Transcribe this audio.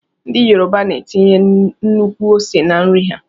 Ndị Yoruba na -etinye nnukwu ose na- nri ha.